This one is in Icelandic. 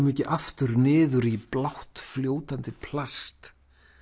ekki aftur niður í blátt fljótandi plast